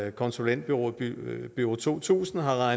og konsulentbureauet bureau to tusind har